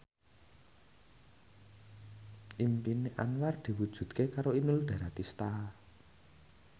impine Anwar diwujudke karo Inul Daratista